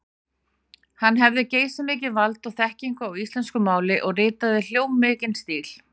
Hann hafði geysimikið vald og þekkingu á íslensku máli og ritaði hljómmikinn stíl.